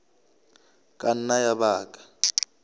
ka nna ya ba ka